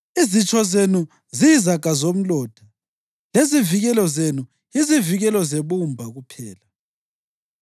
Izitsho zenu ziyizaga zomlotha; lezivikelo zenu yizivikelo zebumba kuphela.